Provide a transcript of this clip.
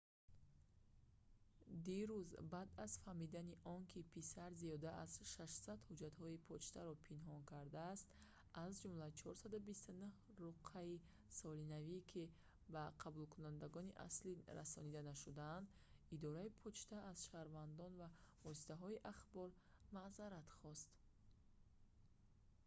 дирӯз баъд аз фаҳмидани он ки писар зиёда аз 600 ҳуҷҷатҳои почтаро пинҳон кардааст аз ҷумла 429 руқъаи солинавӣ ки ба қабулкунандагони аслӣ расонида нашуданд идораи почта аз шаҳрвандон ва воситаҳои ахбор маъзарат хост